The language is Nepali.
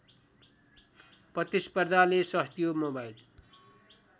प्रतिस्पर्धाले सस्तियो मोबाइल